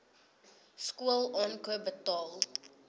skool aankoop betaal